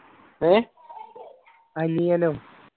ഏർ അനിയനോ